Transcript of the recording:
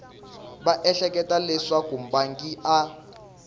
va ehleketa leswaku mbangi a